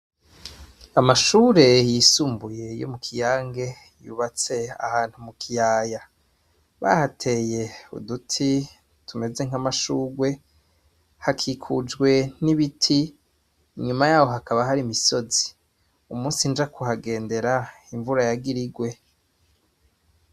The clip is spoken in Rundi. Amashure yisumbuye yo mu Kiyange yubatse ahantu mu kiyaya bahateye uduti tumeze nk'amashurwe hakikujwe n'ibiti inyuma yaho hakaba hari imisozi. Umunsi nja kuhagendera imvura yagira igwe.